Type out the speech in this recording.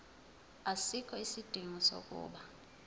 asikho isidingo sokuba